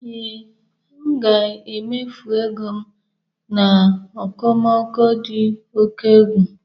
Ee, m ga-emefu ego m na okomoko dị oke ọnụ.